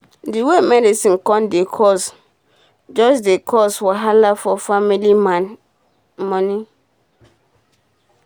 d way medicine come dey cost um jus dey cause wahala for family man moni